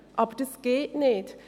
Aber dies geht nicht.